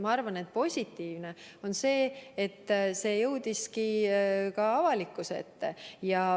Ma arvan, et on positiivne, et see teema jõudis ka avalikkuse ette.